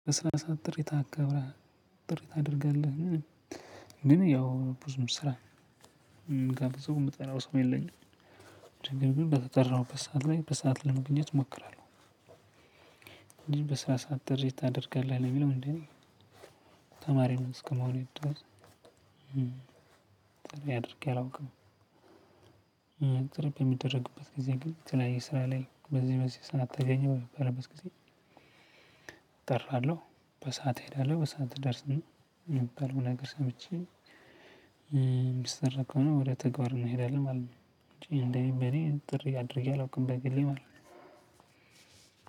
በስራ ሰዓት ጥሪ ታከብረህ ጥሪ ታድርጋለህን? ግን ያው ብዙ ስራ ጋር ብዙ የምጠላውም ሰው የለኝም። ነገር ግን በተጠራሁበት ሰዓት ላይ በሰአት ለመግኘት እሞክራለሁ። በስራ ሰዓት ጥሪ ታደርጋለህ ለሚለው እንደኔ ተማሪ ነው እስከመሆኑ ድረስ አድርጌ አላውቅም። ጥሪ በሚደረግበት ጊዜ ግን የተለያየ ስራ ላይ በዚህ በዚህ ጊዜ እጠራለሁ። በሰአት እሄዳለሁ በሰአት ደርስን የሚባል ነገር ሰምቼ የሚሰራ ከሆነ ወደ ተግባር እንሄዳለን ማለት ነው። እኔ እንደዚህ በኔ ጥሪ አድርጌ አላውቅም በግሌ ማለት ነው።